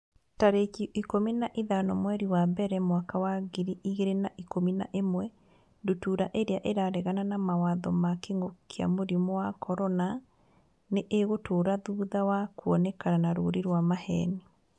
tarĩki ikũmi na ithano mweri wa mbere mwaka wa ngiri igĩrĩ na ikũmi na ĩmwe Ndutura irĩa 'ĩraregana na mawatho ma kĩngũki kia mũrimũ wa CORONA nĩ ĩgũtũra thutha wa kuonekana na rũũri rwa maheeni.